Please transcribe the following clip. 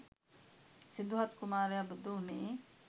සිදුහත් කුමාරය බුදු උනේ